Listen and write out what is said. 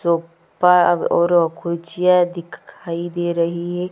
Sofa और गुझिया दिखाई दे रही हैं।